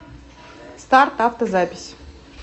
старт авто запись